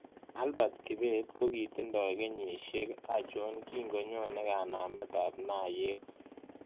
Albert kibet kogiitindo kenyisiek achon kingonyone kanametap naayeet